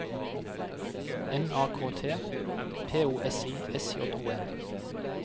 M A K T P O S I S J O N